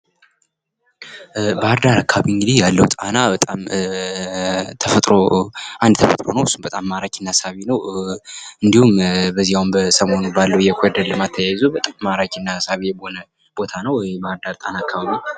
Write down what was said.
ባህርዳር አካባቢ እንግዲህ ያለው ጣና አንድ ተፈጥሮ ነው። እሱም በጣም ማራኪ እና ሳቢ ነው። እንዲሁም አሁን በዚህ ሰሞኑን በአለው የኮሊደር ልማት ተያይዞ በጣም ሳቢ የሆነ ቦታ ነው የባህር ዳር ጣና አካባቢ